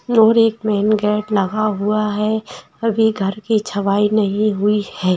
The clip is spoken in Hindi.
और एक मैन गेट लगा हुआ है अभी घर की छवाई नही हुई है।